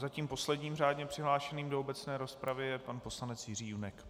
Zatím posledním řádně přihlášeným do obecné rozpravy je pan poslanec Jiří Junek.